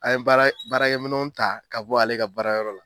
An ye baara baarakɛminɛw ta ka bɔ ale ka baarakɛ yɔrɔ la